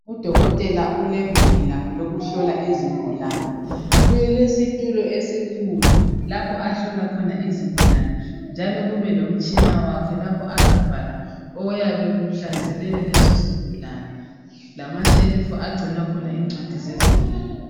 u dokotela ulegumbi lakhe lokuhlola izigulane kulesitulo esikhulu lapho ahlola khona izigulane njalo kube lomtshina wakhe lapho azabhala okuyabe kuhlasele leso sigulane lamashelufu agcina khona incwadi zezigulane